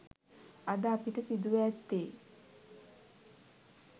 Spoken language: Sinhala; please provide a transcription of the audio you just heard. අද අපට සිදුව ඇත්තේ